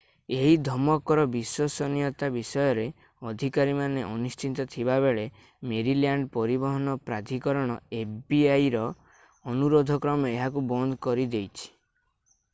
ଏହି ଧମକର ବିଶ୍ୱସନୀୟତା ବିଷୟରେ ଅଧିକାରୀମାନେ ଅନିଶ୍ଚିତ ଥିବାବେଳେ ମେରିଲ୍ୟାଣ୍ଡ ପରିବହନ ପ୍ରାଧିକରଣ fbi ର ଅନୁରୋଧ କ୍ରମେ ଏହାକୁ ବନ୍ଦ କରିଦେଇଛି